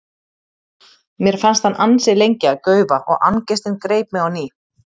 Mér fannst hann ansi lengi að gaufa og angistin greip mig á ný.